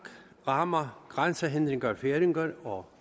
rammer grænsehindringer færinger og